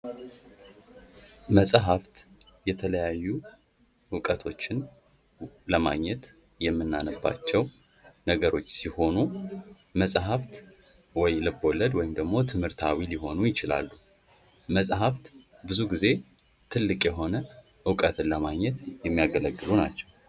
መፅሐፍት የተለያዩ እውቀቶችን ከማግኘት የምናነባቸው ነገሮች ሲሆኑ መፅሐፍት ወይ ልብ ወለድ ወይም ደግሞ ትምህርታዊ ሊሆኑ ይችላሉ:: መፅሐፍት ብዙውን ጊዜ ጥልቅ የሆነ እውቀትን ለማግኘት የሚያገለግሉ ናቸው::